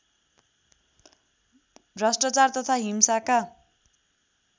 भ्रष्टाचार तथा हिंसाका